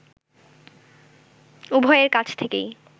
উভয়ের কাছ থেকেই